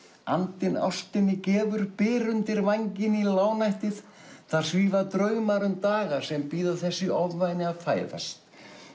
andinn ástinni gefur byr undir vænginn í lágnættið þar svífa draumar um daga sem bíða þess í ofvæni að fæðast